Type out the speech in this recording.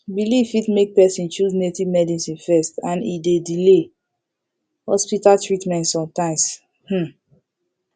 belief fit make person choose native medicine first and e dey delay hospital treatment sometimes um